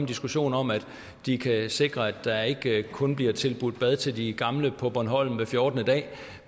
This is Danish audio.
diskussion om at de kan sikre at der ikke kun bliver tilbudt bad til de gamle på bornholm hver fjortende dag